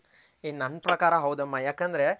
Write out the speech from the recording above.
ಹೇ ನನ್ ಪ್ರಕಾರ ಹೌದಮ್ಮ ಯಕಂದ್ರೆ